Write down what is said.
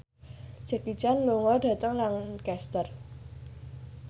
Jackie Chan lunga dhateng Lancaster